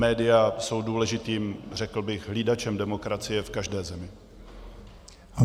Média jsou důležitým, řekl bych, hlídačem demokracie v každé zemi.